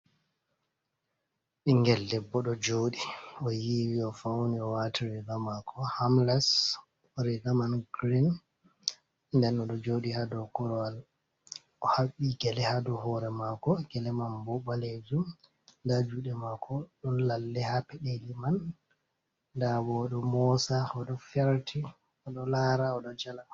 Ɓingel debbo ɗo jooɗi o yiiwi o fawni o waati riga maako hamles bo riga man girinn nden ɗo jooɗi haa dow korowal o haɓɓi gele haa dow hoore maako gele le man bo ɓaleejum ndaa juuɗe maako ɗon lalle haa peɗeeli man ndaa boo o ɗo moosa o ɗo ferti o ɗo laraa o ɗo jala.